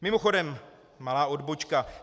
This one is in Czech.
Mimochodem malá odbočka.